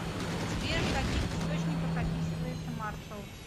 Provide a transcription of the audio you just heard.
сбер в каких источниках описывается маршал